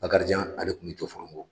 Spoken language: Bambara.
Bakarijan ale tun bɛ Jɔfɔrɔngɔ